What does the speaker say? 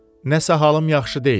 Nəsə halım yaxşı deyil.